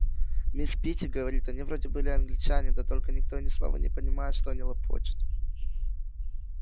мисс питти говорит они вроде были англичане да только никто ни слова не понимает что они лопочут